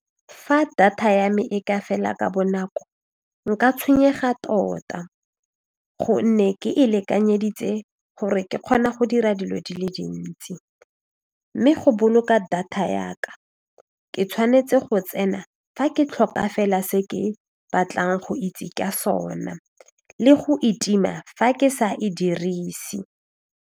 Fa data ya me e ka fela ka bonako nka tshwenyega tota gonne ke e lekanyeditse gore ke kgone go dira dilo di le dintsi mme go boloka data ya ka ke tshwanetse go tsena fa ke tlhoka fela se ke batlang go itse ka sona le go e tima fa ke sa e dirise.